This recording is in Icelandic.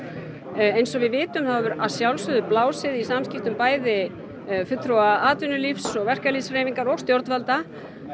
eins og við vitum þá hefur að sjálfsögðu blásið í samskiptum bæði fulltrúa atvinnulífs og verkalýðshreyfingar og stjórnvalda